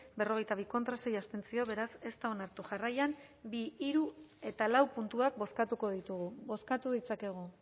berrogeita bi contra sei abstentzio beraz ez da onartu jarraian bi hiru eta lau puntuak bozkatuko ditugu bozkatu ditzakegu